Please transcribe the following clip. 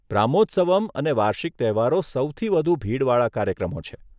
બ્રહ્મોત્સવમ અને વાર્ષિક તહેવારો સૌથી વધુ ભીડવાળા કાર્યક્રમો છે.